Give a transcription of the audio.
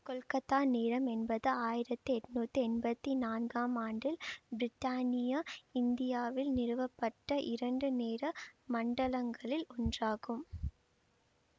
கொல்கத்தா நேரம் என்பது ஆயிரத்தி எட்ணூத்தி எம்பத்தி நான்காம் ஆண்டில் பிரித்தானிய இந்தியாவில் நிறுவப்பட்ட இரண்டு நேர மண்டலங்களில் ஒன்றாகும்